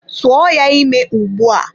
Tụọ ya ime ugbu a!